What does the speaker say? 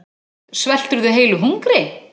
Svelturðu heilu hungri?